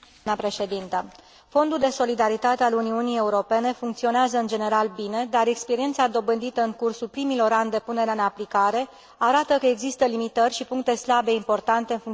Fondul de solidaritate al Uniunii Europene funcționează în general bine, dar experiența dobândită în cursul primilor ani de punere în aplicare arată că exisă limitări și puncte slabe importante în funcționarea fondului.